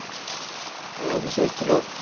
অ, Abhishek hello